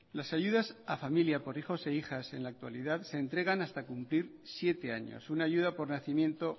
las ayudas a familia por hijos e hijas en la actualidad se entregan hasta cumplir siete años una ayuda por nacimiento